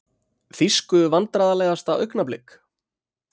Þýsku Vandræðalegasta augnablik?